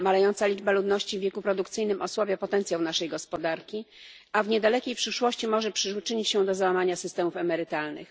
Malejąca liczba ludności w wieku produkcyjnym osłabia potencjał naszej gospodarki, a w niedalekiej przyszłości może przyczynić się do załamania systemów emerytalnych.